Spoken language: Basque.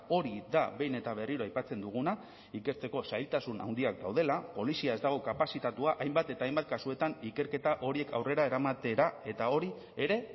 hori da behin eta berriro aipatzen duguna ikertzeko zailtasun handiak daudela polizia ez dago kapazitatua hainbat eta hainbat kasutan ikerketa horiek aurrera eramatera eta hori ere